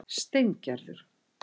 Steingerður